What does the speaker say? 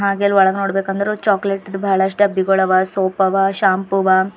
ಹಾಗೆ ಅಲ್ ಒಳಗೆ ನೋಡಬೇಕಂದ್ರ ಚಾಕಲೇಟ್ ಬಹಳಷ್ಟು ಡಬ್ಬಿಗಳವ ಸೋಪ್ ಅವ ಶ್ಯಾಮ್ ಅವ.